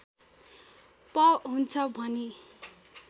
प हुन्छ भनी